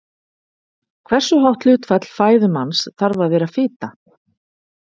Hversu hátt hlutfall fæðu manns þarf að vera fita?